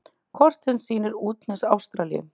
Kort sem sýnir útnes Ástralíu.